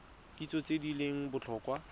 kitso tse di leng botlhokwa